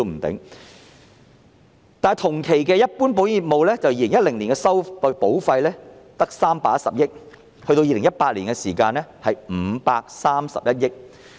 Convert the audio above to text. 但是，同期的一般保險業務 ，2010 年的保費只有310億元，而2018年，則是531億元。